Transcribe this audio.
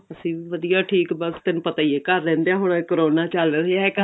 ਅਸੀਂ ਵੀ ਵਧੀਆ ਠੀਕ ਬੱਸ ਤੈਨੂੰ ਪਤਾ ਹੀ ਏ ਘਰ ਰਿਹੰਦੀਆਂ ਹੁਣ ਤਾਂ ਕਰੋਨਾ ਚੱਲ ਰਿਹਾ